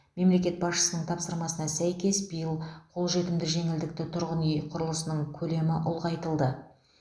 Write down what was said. мемлекет басшысының тапсырмасына сәйкес биыл қолжетімді жеңілдікті тұрғын үй құрылысының көлемі ұлғайтылды